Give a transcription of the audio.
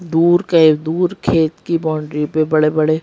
दूर के दूर खेत की बाउंड्री पे बड़े-बड़े --